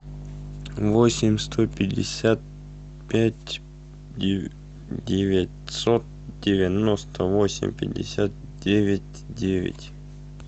восемь сто пятьдесят пять девятьсот девяносто восемь пятьдесят девять девять